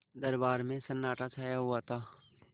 दरबार में सन्नाटा छाया हुआ था